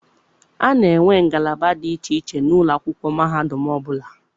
A na-enwe ngalaba dị iche iche n'ụlọ akwụkwọ mahadum ọbụla.